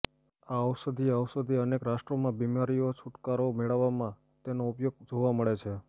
આ ઔષધીય ઔષધિ અનેક રાષ્ટ્રોમાં બિમારીઓ છુટકારો મેળવવામાં તેના ઉપયોગ જોવા મળે છે